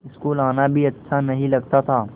school आना भी अच्छा नहीं लगता था